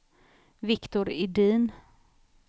Viktor Edin